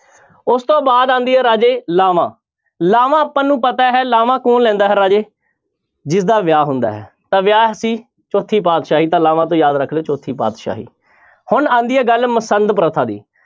ਉਸ ਤੋਂ ਬਾਅਦ ਆਉਂਦੀ ਹੈ ਰਾਜੇ ਲਾਵਾਂ, ਲਾਵਾਂ ਆਪਾਂ ਨੂੰ ਪਤਾ ਹੈ ਲਾਵਾਂ ਕੌਣ ਲੈਂਦਾ ਹੈ ਰਾਜੇ ਜਿਸਦਾ ਵਿਆਹ ਹੁੰਦਾ ਹੈ ਤਾਂ ਵਿਆਹ ਸੀ ਚੌਥੀ ਪਾਤਿਸ਼ਾਹੀ ਤਾਂ ਲਾਵਾਂ ਤੋਂ ਯਾਦ ਰੱਖ ਲਇਓ ਚੌਥੀ ਪਾਤਿਸ਼ਾਹੀ ਹੁਣ ਆਉਂਦੀ ਹੈ ਗੱਲ ਮਸੰਦ ਪ੍ਰਥਾ ਦੀ।